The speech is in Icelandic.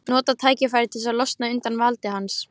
Nota tækifærið og losna undan valdi hans.